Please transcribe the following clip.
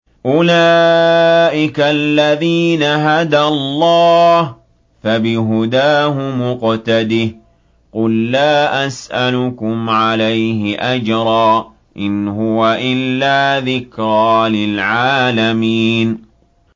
أُولَٰئِكَ الَّذِينَ هَدَى اللَّهُ ۖ فَبِهُدَاهُمُ اقْتَدِهْ ۗ قُل لَّا أَسْأَلُكُمْ عَلَيْهِ أَجْرًا ۖ إِنْ هُوَ إِلَّا ذِكْرَىٰ لِلْعَالَمِينَ